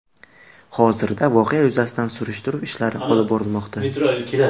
Hozirda voqea yuzasidan surishtiruv ishlari olib borilmoqda.